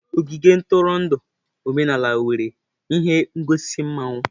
Ogige ntụrụndụ omenala nwere ihe ngosi mmawụ.